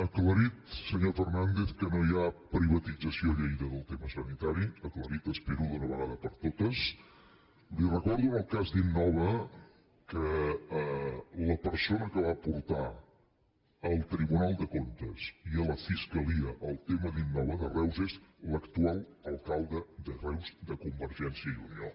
aclarit senyor fernàndez que no hi ha privatització a lleida del tema sanitari aclarit espero d’una vegada per totes li recordo en el cas d’innova que la persona que va portar al tribunal de comptes i a la fiscalia el tema d’innova de reus és l’actual alcalde de reus de convergència i unió